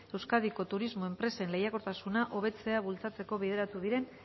euskadiko turismo enpresen lehiakortasuna hobetzea bultzatzeko bideratu diren